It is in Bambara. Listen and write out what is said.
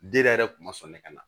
Den yɛrɛ kun ma sɔn ne ka na